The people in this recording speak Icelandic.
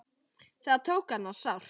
Það tók hana sárt.